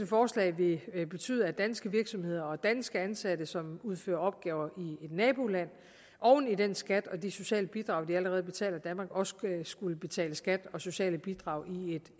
forslag ville betyde at danske virksomheder og danske ansatte som udfører opgaver i et naboland oven i den skat og de sociale bidrag de allerede betaler i danmark også skulle betale skat og sociale bidrag i